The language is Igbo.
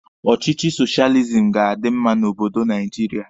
Ọchịchị soshializim ga-adi mma n'obodo Naijiria.